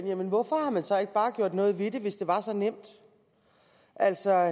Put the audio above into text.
jamen hvorfor har man så ikke bare gjort noget ved det hvis det var så nemt altså